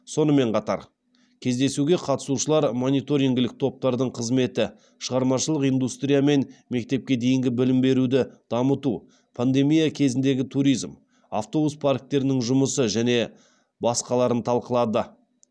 сонымен қатар кездесуге қатысушылар мониторингілік топтардың қызметі шығармашылық индустрия мен мектепке дейінгі білім беруді дамыту пандемия кезіндегі туризм автобус парктерінің жұмысы және басқаларын талқылады